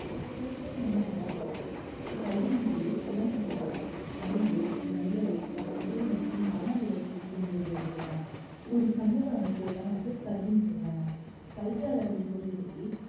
கல்வினா என்னங்க கல்விங்கறது குழந்தைகளோட அறிவு நல்லொழுக்கம் உடல் மற்றும் மன வளர்ச்சி இருக்குங்க ஒரு சமூக அமைப்ப தான் வந்து கல்வின்னு சொல்றாங்க கல்வியாளர்கள் கூறியபடி